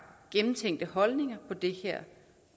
gennemtænkte holdninger på det her